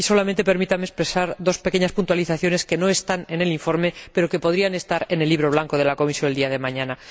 Solamente permítame expresar dos pequeñas puntualizaciones, que no están en el informe, pero que podrían estar en el Libro Blanco de la Comisión el día de mañana.